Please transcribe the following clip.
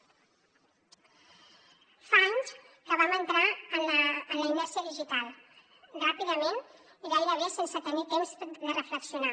fa anys que vam entrar en la inèrcia digital ràpidament i gairebé sense tenir temps de reflexionar